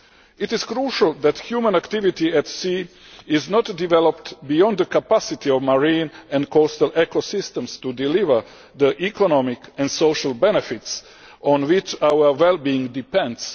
It is crucial that human activity at sea is not developed beyond the capacity of marine and coastal ecosystems to deliver the economic and social benefits on which our wellbeing depends.